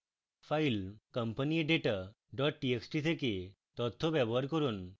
file companyadata txt থেকে তথ্য ব্যবহার করুন